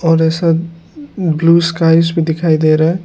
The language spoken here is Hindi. और ये सब ब्लू स्काइज भी दिखाई दे रहा है।